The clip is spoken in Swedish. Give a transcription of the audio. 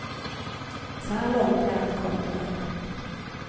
Så här långt är allt gott och väl.